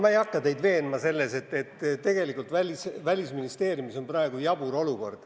Ma ei hakka teid veenma selles, et tegelikult Välisministeeriumis on praegu jabur olukord.